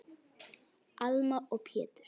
Alma og Pétur.